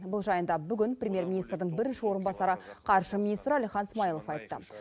бұл жайында бүгін премьер министрдің бірінші орынбасары қаржы министрі әлихан смайылов айтты